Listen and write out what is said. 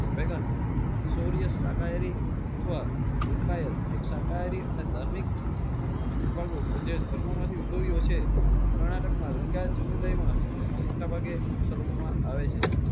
ભૈબંદ સોરિયાત શાકાહારી અથવા લિંકઅયાત એક શાકાહારી અને ધાર્મિક કેજે ધર્મ માંથી ઉદ્ભવ્યું હશે. કર્ણાટક માં લિંકઅયાત સમુદાય માં આ મોટા ભાગે અનુસરવા માં આવે છે.